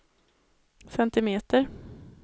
centimeter